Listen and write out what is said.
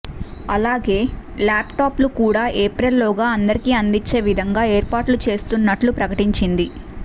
అలాగే laptop లు కూడా ఏప్రిల్ లోగా అందరికీ అందించే విధంగా ఏర్పాట్లు చేస్తున్నట్లు ప్రకటించింది